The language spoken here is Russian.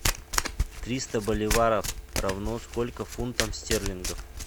триста боливаров равно сколько фунтов стерлингов